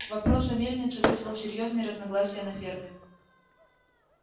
вопрос о мельнице вызвал серьёзные разногласия на ферме